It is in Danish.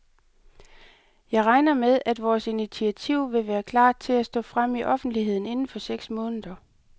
Jeg regner med, at vores initiativ vil være klart til at stå frem i offentligheden inden for seks måneder.